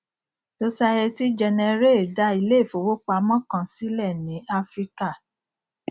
société générale dá ilé ìfowópamọ kan sílẹ ní áfíríkà